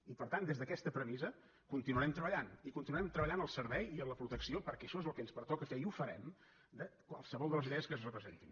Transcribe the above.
i per tant des d’aquesta premissa continuarem treballant i continuarem treballant al servei i en la protecció perquè això és el que ens pertoca fer i ho farem de qualsevol de les idees que es representin